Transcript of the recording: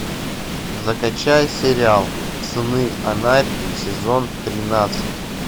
закачай сериал сны анархии сезон тринадцать